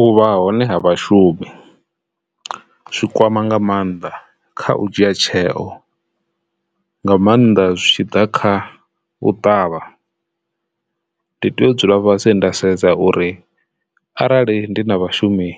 U vha hone ha vhashumi zwikwama nga maanḓa kha u dzhia tsheo nga maanḓa zwi tshi ḓa kha u ṱavha ndi tea u dzula fhasi nda sedza uri arali ndi na vhashumi